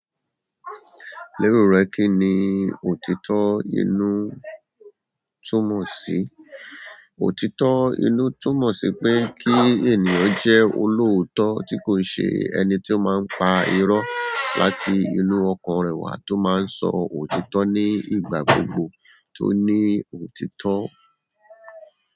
Lérò rẹ kí ni òtítọ́ inú túmọ̀ sí? Òtítọ́ inú túmọ̀ sí pé kí ènìyàn jẹ́ olóòótọ́ tí kò ṣe ẹni tó máa ń pa irọ́ láti inú ọkàn rẹ̀ wá tó máa ń sọ òtítọ́ ní ìgbà gbogbo tó ní òtítọ́.